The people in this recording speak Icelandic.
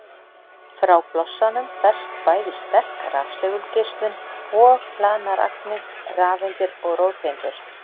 Frá blossanum berst bæði sterk rafsegulgeislun og hlaðnar agnir, rafeindir og róteindir.